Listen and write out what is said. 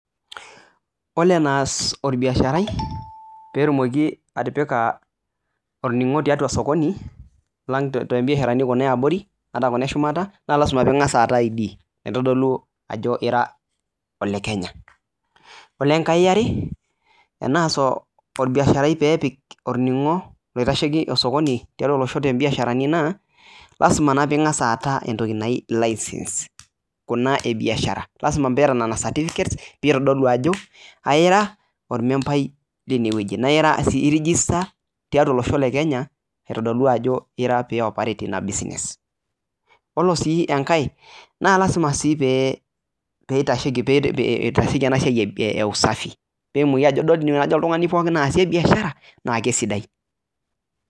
Oore enias orbiasharai pee etumoki atipika orning'o tiatua sokoni, tombisharani kuna eshumata arashu kuuna iabori, lazima peyie ing'asa aata I.D naitodolu aajo iira ole Kenya. Oore eneiare lazima naa pyie ing'asa aata entoki naji license kuuna e biashara lazima peyie iata nena certificates pee eitodolu aajo aira ormembai lene wueji naa iira si iregister tiatua olohso le Kenya, aitodolu aajo aira pee ioperate iina business. Naa iyiolo sii enkae naa lazima pee eitasheki eena siai e usafi.